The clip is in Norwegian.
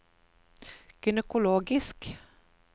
gynekologisk